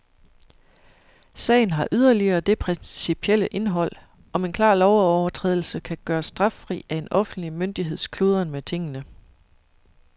Sagen har yderligere det principielle indhold, om en klar lovovertrædelse kan gøres straffri af en offentlig myndigheds kludren med tingene.